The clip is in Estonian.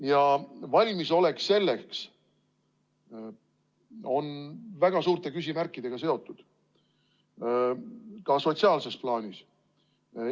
Ja valmisolek selleks on väga suurte küsimärkidega seotud, ka sotsiaalses plaanis.